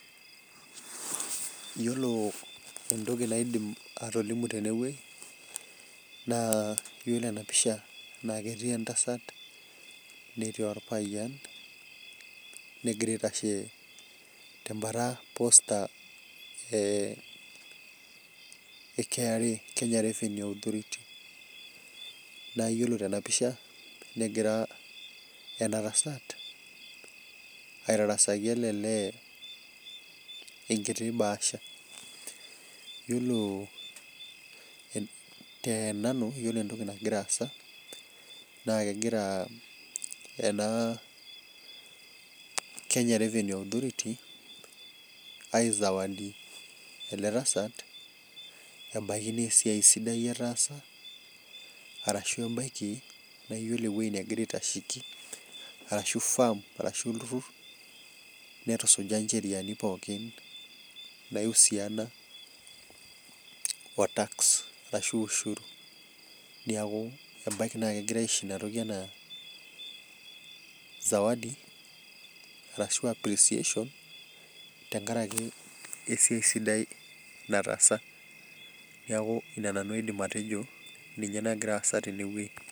iyiolo entoki naidim atolimu teweji, naa iyiolo enapisha naa ketii entasat netii olpayian negira aitashe tebata ee KRA kenya revenue authority naa iyiolo tenapisha negira ena tasat aitarasaki ele lee enkiti baasha iyiolo tenanu iyiolo entoki nagira aasa naa kegira ena kenya revenue authority aizawadi ele tasat ebaki naa esiai sidai etasa arashu ebaki naa iyiolo eweji negira aitasheki arashu farm arashu olturur netusuja icheriani pooki naashiakino o tax neeku ebaki naa kegirai asho ena toki enaa sawadi ashu appreciation esiai sidai naatasa neeku ina nanu aidim atejo ninye nagira aasa teneweji.